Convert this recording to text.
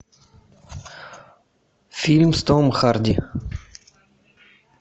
фильм с томом харди